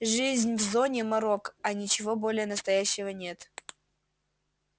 жизнь в зоне морок а ничего более настоящего нет